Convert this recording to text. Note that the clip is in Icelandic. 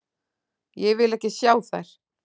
Ég vil ekki sjá þær.